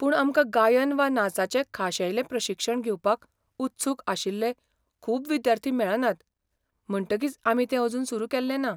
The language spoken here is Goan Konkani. पूण आमकां गायन वा नाचाचें खाशेलें प्रशिक्षण घेवपाक उत्सूक आशिल्ले खूब विद्यार्थी मेळनात, म्हणटकीच आमी तें अजून सुरू केल्लेंना.